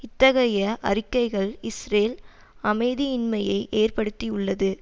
இத்தகைய அறிக்கைகள் இஸ்ரேல் அமைதியின்மையை ஏற்படுத்தியுள்ளது